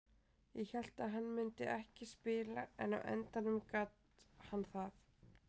Ég hélt að hann myndi ekki spila en á endanum gat hann það.